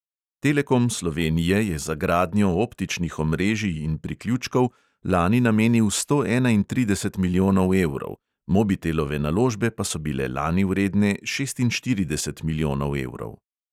Telekom slovenije je za gradnjo optičnih omrežij in priključkov lani namenil sto enaintrideset milijonov evrov, mobitelove naložbe pa so bile lani vredne šestinštirideset milijonov evrov.